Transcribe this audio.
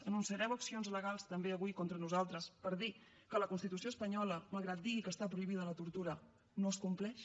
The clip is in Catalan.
anunciareu accions legals també avui contra nosaltres per dir que la constitució espanyola malgrat que digui que està prohibida la tortura no es compleix